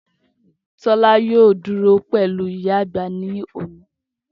Tola yoo duro pẹlu iya agba ni alẹ oni.